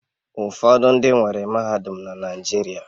Ụfọdụ ndị nwere mahadum na Naịjirịa